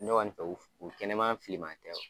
Ne kɔni fɛ u u kɛnɛma fili man tɛ